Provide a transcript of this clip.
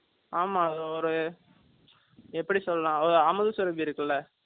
ஆமா, அது, ஒரு, எப்படி சொல்லலாம்? அமுது சுரபி இருக்குல்ல?